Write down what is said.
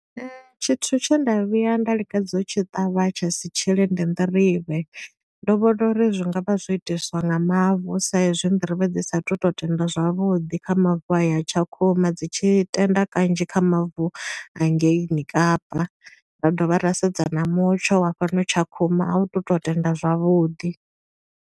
Tshithu tshe nda vhuya nda lingedza u tshi ṱavha tsha si tshile ndi nḓirivhe. Ndo vhona uri zwi nga vha zwo itiswa nga mavu sa i zwi nḓirivhe dzi sathu to tenda zwavhuḓi kha mavu a ya Tshakhuma. Dzi tshi tenda kanzhi kha mavu a ngeini Kapa. Ra dovha ra sedza na mutsho wa fhano Tshakhuma, a u tu to tenda zwavhuḓi.